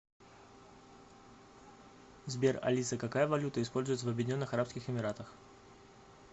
сбер алиса какая валюта используется в объединенных арабских эмиратах